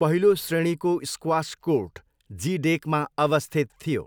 पहिलो श्रेणीको squash court G डेकमा अवस्थित थियो।